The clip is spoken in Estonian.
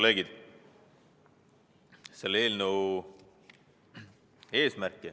Head kolleegid!